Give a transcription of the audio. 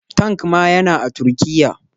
Tank ma yana a Turkiya.